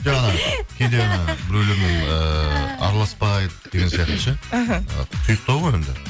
жоқ кейде біреулермен ыыы араласпайды деген сияқты ше іхі і тұйықтау ғой енді